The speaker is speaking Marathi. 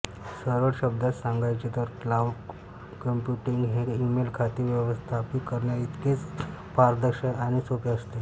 सरळ शब्दात सांगायचे तर क्लाउड कंप्यूटिंग हे ईमेल खाते व्यवस्थापित करण्याइतकेच पारदर्शक आणि सोपे असते